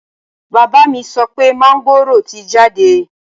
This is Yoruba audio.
Bàbá mi sọ pé máńgòrò ti jáde